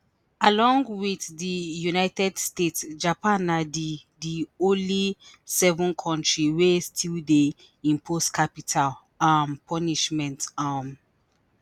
Along wit di United States Japan na di di only seven kontri wey still dey impose capital um punishment um